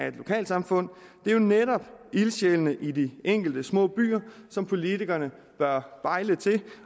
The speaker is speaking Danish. et lokalsamfund det er jo netop ildsjælene i de enkelte små byer som politikerne bør bejle til